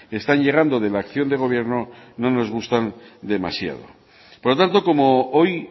están llegando de la acción de gobierno no nos gustan demasiado por lo tanto como hoy